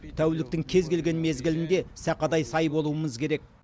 тәуліктің кез келген мезгілінде сақадай сай болуымыз керек